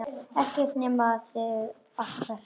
Ekkert nema það allra besta.